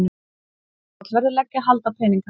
Tollverðir leggja hald á peninga